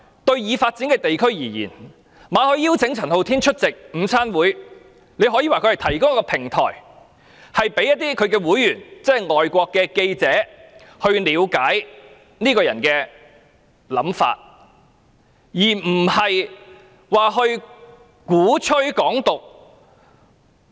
對已發展的地區而言，馬凱邀請陳浩天出席午餐會，可說是提供一個平台，讓香港外國記者會會員了解這個人的想法，而非鼓吹"港獨"。